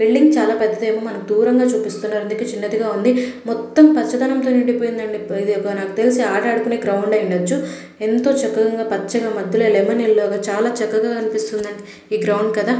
Building చాలా పెద్దదేమో మనకు దూరంగా చూపిస్తున్నారు. అందుకే చిన్నదిగా ఉంది. మొత్తం పచ్చదనంతో నిండిపోయింది అండి. ఇది నాకు తెలిసి ఆట ఆడుకునే గ్రౌండ్ అయి ఉండవచ్చు. ఎంతో చక్కగా పచ్చగా మధ్యలో లెమన్ ఎల్లో గా చాలా చక్కగా అనిపిస్తుందండి. ఈ గ్రౌండ్ కదా.